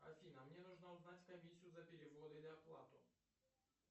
афина мне нужно узнать комиссию за перевод или оплату